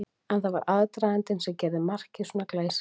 En það var aðdragandinn sem gerði markið svona glæsilegt.